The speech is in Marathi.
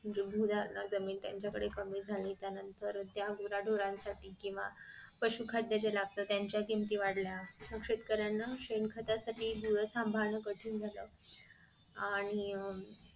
गोरनं जमीन त्याच्याकडे कमी झाली त्यानंतर त्या गुराधुरा साठी केंव्हा पशु खाद्य जे लागत त्यांच्या किमती वाढल्या शेतकऱ्यानं शेण खतासाठी गुर सांभाळणं कठीण झालं आणि